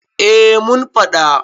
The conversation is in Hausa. eh mun faɗa